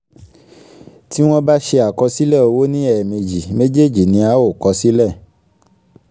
tí wọn bá ṣe àkọsílẹ̀ owó ní ẹ̀ẹ̀mejì méjèèjì ni a a ó kọ sílẹ̀